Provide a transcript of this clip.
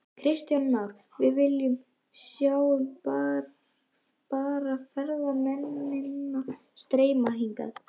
Kristján Már: Við sjáum bara ferðamennina streyma hingað?